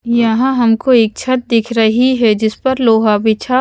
यहाँ हमको एक छत दिख रही है जिस पर लोहा बिछा --